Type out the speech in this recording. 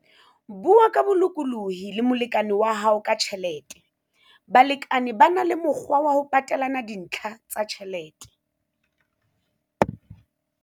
Bua ka bolokolohi le molekane wa hao ka tjhelete - Balekane ba na le mokgwa wa ho patelana dintlha tsa ditjhelete.